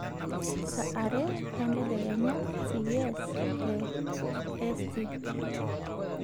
saa aare entadekenya c.s..t te e..s.t